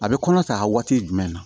A bɛ kɔnɔ ta waati jumɛn na